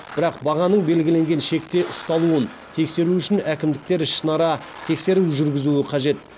бірақ бағаның белгіленген шекте ұсталуын тексеру үшін әкімдіктер ішінара тексеру жүргізуі қажет